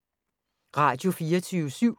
Radio24syv